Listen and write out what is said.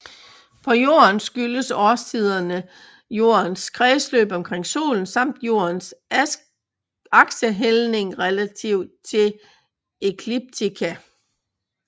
På Jorden skyldes årstiderne Jordens kredsløb omkring Solen samt Jordens aksehældning relativt til ekliptika